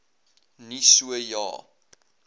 nie so ja